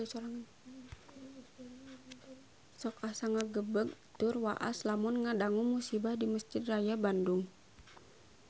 Sok asa ngagebeg tur waas lamun ngadangu musibah di Mesjid Raya Bandung